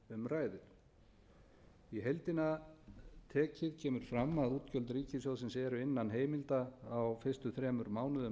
aðrir í heildina tekið kemur fram að útgjöld ríkissjóðsins eru innan heimilda á fyrstu þremur mánuðum